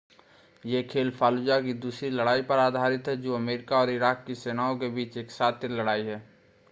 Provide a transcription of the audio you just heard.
यह खेल फालुजा की दूसरी लड़ाई पर आधारित है जो अमेरिका और इराक की सेनाओं के बीच एक शातिर लड़ाई है